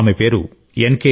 ఆమె పేరు ఎన్